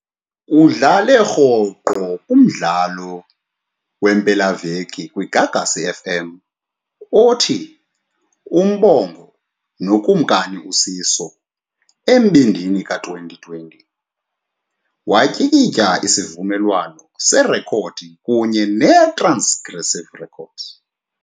Udlale rhoqo kumdlalo wempelaviki kwiGagasi FM, othi, uMbongo noKumkani uSiso Embindini ka-2020, watyikitya isivumelwano serekhodi kunye neTransgressive Records.